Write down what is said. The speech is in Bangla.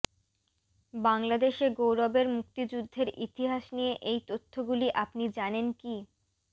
বাংলাদেশে গৌরবের মুক্তিযুদ্ধের ইতিহাস নিয়ে এই তথ্যগুলি আপনি জানেন কি